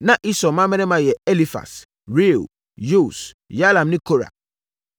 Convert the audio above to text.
Na Esau mmammarima yɛ Elifas, Reuel, Yeus, Yalam ne Kora.